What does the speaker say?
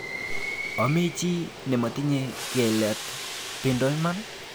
Ame chi nematinye kelat bendo iman.